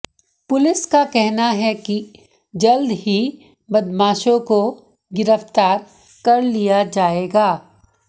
police का कहना है कि जल्द ही बदमाशों को गिरफ्तार कर लिया जाएगा